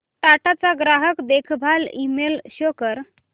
टाटा चा ग्राहक देखभाल ईमेल शो कर